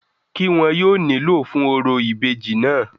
kí wọn yóò nílò fún orò ìbejì náà?